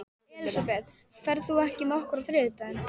Elisabeth, ferð þú með okkur á þriðjudaginn?